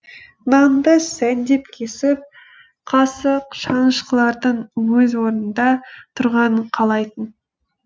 нанды сәндеп кесіп қасық шанышқылардың өз орнында тұрғанын қалайтын